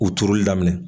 U turuli daminɛ